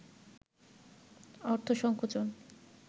অর্থ সংকোচন